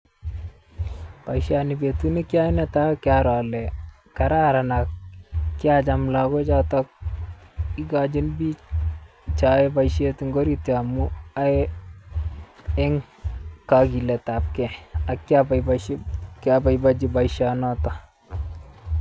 Boisioni betut nekioyoe netai kokiaro kararan ak kiacham logochoton ikochin biik cheyoe boisiet eng' orit yon amun yoe en kokiletabkei ak kioboiboeshi kioboiboenji boisionoton.